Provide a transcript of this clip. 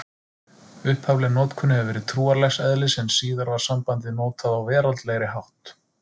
Upphafleg notkun hefur verið trúarlegs eðlis en síðar var sambandið notað á veraldlegri hátt.